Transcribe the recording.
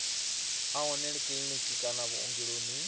a wanalea kiḽiniki kana vhuongeloni